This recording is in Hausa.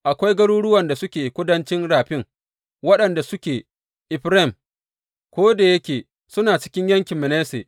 Akwai garuruwan da suke kudancin rafin, waɗanda suke Efraim, ko da yake suna cikin yankin Manasse.